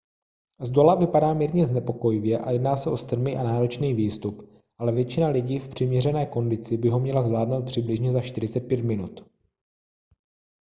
zdola vypadá mírně znepokojivě a jedná se o strmý a náročný výstup ale většina lidí v přiměřené kondici by ho měla zvládnout přibližně za 45 minut